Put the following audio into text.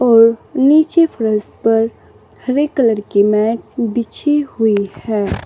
और नीचे फर्श पर हरे कलर की मैट बिछी हुई है।